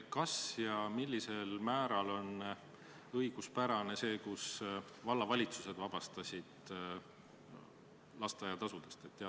Kas ja millisel määral on õiguspärane see, et vallavalitsused vabastasid lapsevanemad lasteaia kohatasu maksmisest?